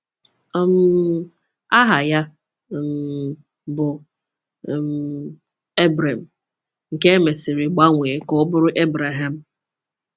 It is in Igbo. um Aha ya um bụ um Ebrem, nke e mesịrị gbanwee ka ọ bụrụ Ebreham.